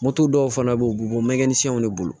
Moto dɔw fana bɛ yen u bɛ bɔ mɛgɛsɛnw de bolo